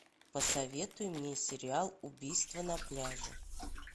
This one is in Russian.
посоветуй мне сериал убийство на пляже